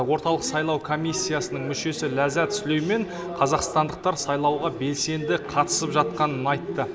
орталық сайлау комиссиясының мүшесі ләззат сүлеймен қазақстандықтар сайлауға белсенді қатысып жатқанын айтты